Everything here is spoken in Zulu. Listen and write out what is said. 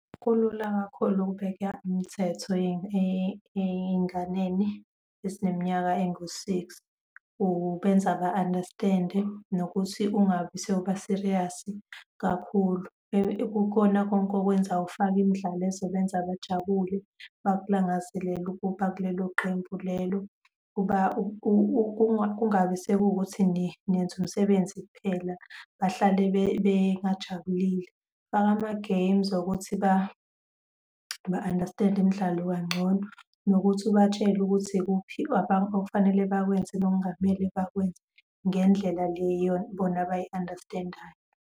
Kulula kakhulu ukubeka imithetho ey'nganeni ezineminyaka ezingu-six, ubenza ba-understand-e, nokuthi ungabi sewuba-serious-i kakhulu, kukhona konke okwenzayo, ufake imidlalo ezobenza bajabule, bakulangazelele ukuba kulelo qembu lelo. Kungabi sekuwukuthi niyenza umsebenzi kuphela. Bahlale bengajabulile, faka amagemu wokuthi ba-understand-e imidlalo kangcono, nokuthi ubatshele ukuthi ikuphi okufanele bakwenze nokungamele bakwenze ngendlela leyo bona abayi-understand-ayo.